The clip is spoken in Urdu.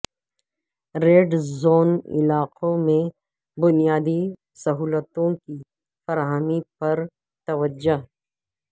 ریڈ زون علاقوں میں بنیادی سہولتوں کی فراہمی پر توجہ